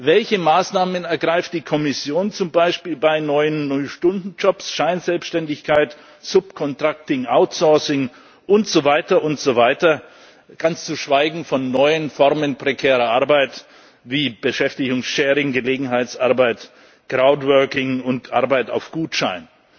Welche Maßnahmen ergreift die Kommission zum Beispiel bei neuen Null Stunden Jobs, Scheinselbständigkeit, subcontracting, outsourcing und so weiter und so weiter ganz zu schweigen von neuen Formen prekärer Arbeit, wie Beschäftigungssharing, Gelegenheitsarbeit, crowdworking und Arbeit auf Gutschein.